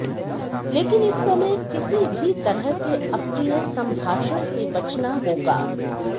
लेकिन इस समय किसी भी तरह के अप्रिय सम्भाषण से बचना होगा